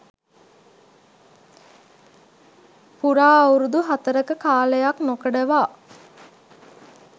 පුරා අවුරුදු හතරක කාලයක් නොකඩවා